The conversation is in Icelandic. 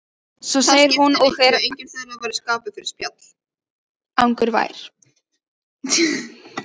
Svo segir hún og er angurvær: